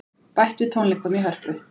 Bætt við tónleikum í Hörpu